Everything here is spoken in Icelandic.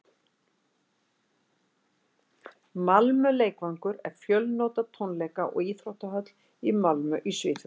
malmö leikvangur er fjölnota tónleika og íþróttahöll í malmö í svíþjóð